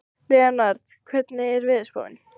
Leonhard, hvernig er veðurspáin?